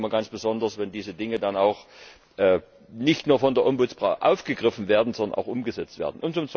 Ich freue mich immer ganz besonders, wenn diese Dinge dann auch nicht nur von der Bürgerbeauftragten aufgegriffen werden, sondern auch umgesetzt werden.